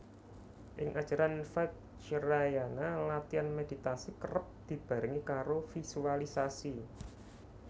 Ing ajaran Vajrayana latihan meditasi kerep dibarengi karo visualisasi